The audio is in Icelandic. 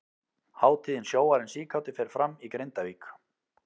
Hátíðin Sjóarinn síkáti fer fram í Grindavík.